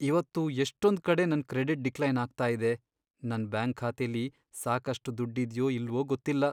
ಇವತ್ತು ಎಷ್ಟೊಂದ್ಕಡೆ ನನ್ ಕ್ರೆಡಿಟ್ ಡಿಕ್ಲೈನ್ ಆಗ್ತಾ ಇದೆ. ನನ್ ಬ್ಯಾಂಕ್ ಖಾತೆಲಿ ಸಾಕಷ್ಟ್ ದುಡ್ಡಿದ್ಯೋ ಇಲ್ವೋ ಗೊತ್ತಿಲ್ಲ.